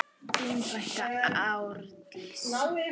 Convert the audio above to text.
Þín frænka Árdís.